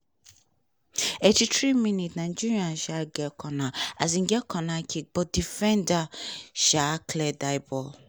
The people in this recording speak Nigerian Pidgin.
eighty four minute nigeria um get corner um get corner kick but defender um clear di ball.